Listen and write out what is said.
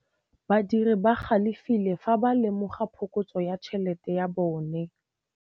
Badiri ba galefile fa ba lemoga phokotsô ya tšhelête ya bone.